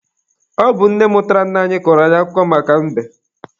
Ọ bụ nne mụtara nna anyị kọrọ anyị akụkọ maka mbe.